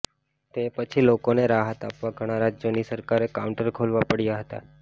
તે પછી લોકોને રાહત આપવા ઘણા રાજ્યોની સરકારોએ કાઉન્ટર ખોલવા પડ્યા હતા